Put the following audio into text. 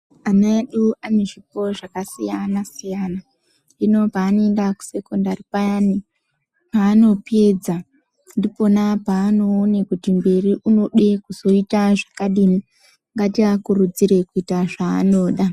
Ana edu ane zvikoro zvakasiyana siyana. Hino paanoenda kusekondari payani, paanopedza, ndipona paanoone kuti mberi unode kuzoita zvakadini. Ngatiakurudzirei kuita zvaanoda.